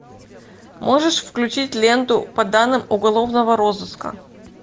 можешь включить ленту по данным уголовного розыска